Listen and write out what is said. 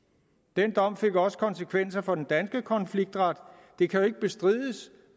den dom fik også konsekvenser for den danske konfliktret det kan jo ikke bestrides